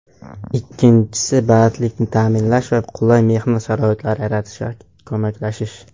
Ikkinchisi bandlikni ta’minlash va qulay mehnat sharoitlari yaratishga ko‘maklashish.